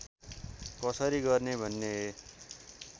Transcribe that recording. कसरी गर्ने भन्ने